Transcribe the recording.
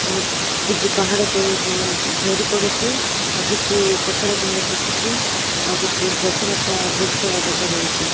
କିଛି ପାହାଡ଼ ତଳକୁ ଝରି ପଡ଼ୁଚି ଆଉ କିଛି ପତର ଖଡେ ଦୁସୁଚି ଆଉ କିଛି ଗଛ ଲତା ବୃକ୍ଷ ଦେଖା ଯାଉଚି।